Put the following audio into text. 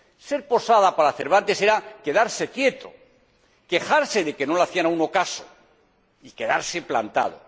Ser posada, para Cervantes, era quedarse quieto, quejarse de que no le hacían a uno caso y quedarse plantado.